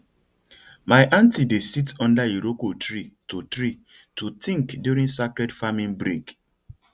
my aunty dey sit under iroko tree to tree to think during sacred farming break